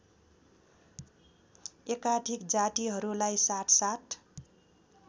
एकाधिक जातिहरूलाई साथसाथ